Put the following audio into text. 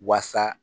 Wasa